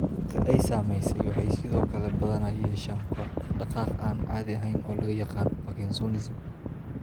Dadka ay saamaysay waxay sidoo kale badanaa yeeshaan koox dhaqdhaqaaq aan caadi ahayn oo loo yaqaan parkinsonism.